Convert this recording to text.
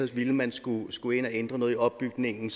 det ville man skulle skulle ind og ændre noget i opbygningen